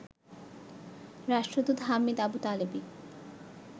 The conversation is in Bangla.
রাষ্ট্রদূত হামিদ আবুতালেবি